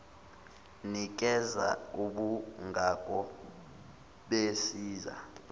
nikeza ubungako besiza